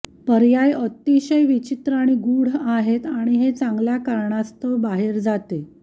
पायर्या अतिशय विचित्र आणि गूढ आहेत आणि हे चांगल्या कारणास्तव बाहेर जाते